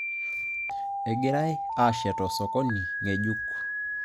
Egirai aashet osokoni ng'ejuk